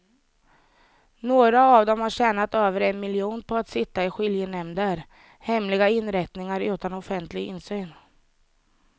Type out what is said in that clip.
Några av dem har tjänat över en miljon på att sitta i skiljenämnder, hemliga inrättningar utan offentlig insyn.